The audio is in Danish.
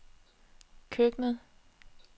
køkkenet